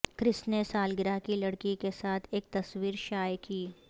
کرس نے سالگرہ کی لڑکی کے ساتھ ایک تصویر شائع کی